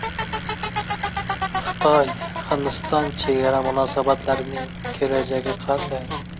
Xitoy-Hindiston chegara munosabatlarining kelajagi qanday?